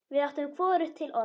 Við áttum hvorugt til orð.